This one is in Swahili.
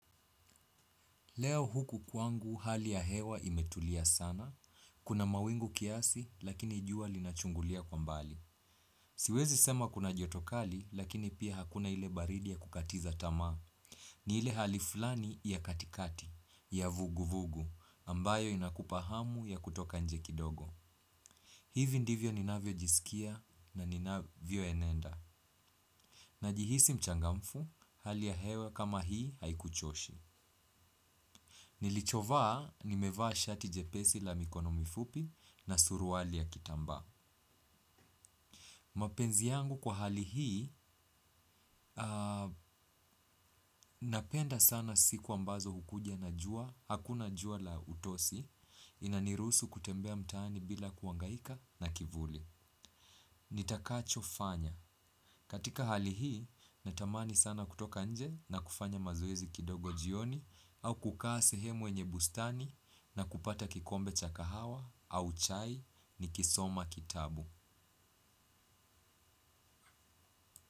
Leo huku kwangu hali ya hewa imetulia sana. Kuna mawingu kiasi, lakini jua linachungulia kwa mbali. Siwezi sema kuna joto kali, lakini pia hakuna ile baridi ya kukatiza tamaa. Ni ile hali fulani ya katikati, ya vuguvugu, ambayo inakupa hamu ya kutoka nje kidogo. Hivi ndivyo ninavyojisikia na ninavyoenenda. Najihisi mchangamfu, hali ya hewa kama hii haikuchoshi. Nilichovaa, nimevaa shati jepesi la mikono mifupi na suruali ya kitambaa. Mapenzi yangu kwa hali hii, napenda sana siku ambazo hukuja na jua, hakuna jua la utosi, inaniruhusu kutembea mtaani bila kuhangaika na kivuli. Nitakachofanya katika hali hii, natamani sana kutoka nje na kufanya mazoezi kidogo jioni. Au kukaa sehemu yenye bustani na kupata kikombe cha kahawa au chai nikisoma kitabu.